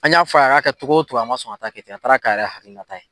An y'a fɔ a ye a k'a kɛ cogo cogo, a ma sɔn ka taa kɛ ten, a taara k'a yɛrɛ hakilina ta ye.